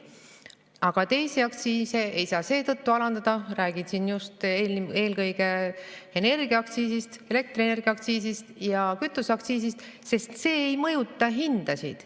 Aga teisi aktsiise ei saa seetõttu alandada, räägin siin just eelkõige energiaaktsiisist, elektrienergiaaktsiisist ja kütuseaktsiisist, sest see ei mõjuta hindasid.